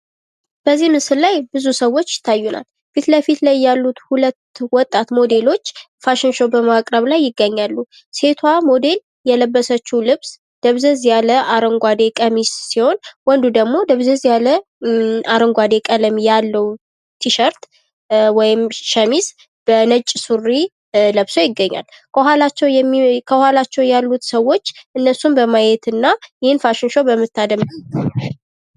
በዚህ ምስል ላይ ብዙ ሰዎች ይታዩና ፊት ለፊት ላይ ያሉት ሁለቱ ወጣት ሞዴሎች ፋሽን ሾው በማቅረብ ላይ ይገኛሉ። ሴቷ ሞዴል የለበሰችው ልብስ ደብዘዝ ያለ አረንጓዴ ቀሚስ ሲሆን ፤ ወንዱ ደግሞ ደብዘዝ ያለ አረንጓዴ ቀለም ያለው ቲሸርት ወይም ሸሚዝ በነጭ ሱሪ ለብሶ ይገኛል። ከኋላቸው ያሉት ሰዎች እነሱን በማየትና ይህን ፋሽን ሾው በመታደም